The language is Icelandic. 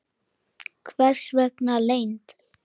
Hvers vegna leynd?